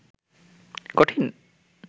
কঠিন